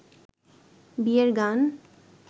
বিয়ের গান